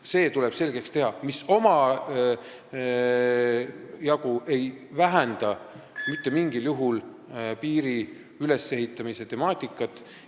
See tuleb selgeks teha, mis ei vähenda mitte mingil juhul piiri ülesehitamise temaatika tähtsust.